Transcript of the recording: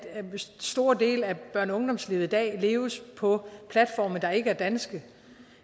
store dele af børne og ungdomslivet i dag leves på platforme der ikke er danske